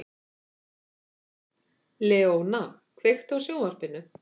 Leóna, kveiktu á sjónvarpinu.